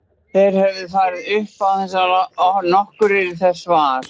Þeir höfðu farið upp án þess að nokkur yrði þess var.